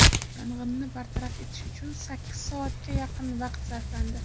Yong‘inni bartaraf etish uchun sakkiz soatga yaqin vaqt sarflandi.